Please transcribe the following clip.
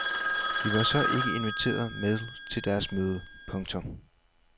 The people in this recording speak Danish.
Vi var så ikke inviteret med til deres møde. punktum